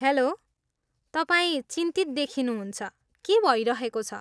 Hello, तपाईँ चिन्तित देखिनुहुन्छ, के भइरहेको छ?